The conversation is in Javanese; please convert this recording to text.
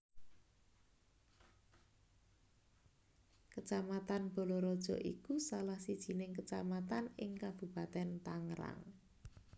Kacamatan Balaraja iku salah sijining kacamatan ing Kabupatèn Tangerang